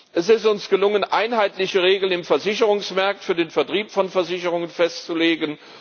Es ist uns gelungen, einheitliche Regeln im Versicherungsmarkt für den Vertrieb von Versicherungen festzulegen.